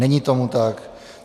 Není tomu tak.